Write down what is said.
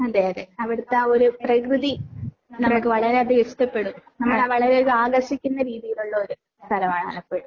അതേ അതേ. അവിടുത്തെ ആ ഒരു പ്രകൃതിയെ അത്രക്ക് വളരെയധികം ഇഷ്ടപ്പെടും. നമ്മളെ വളരെയധികം ആകർഷിക്കുന്ന രീതിയിലുള്ള ഒരു സ്ഥലമാണ് ആലപ്പുഴ.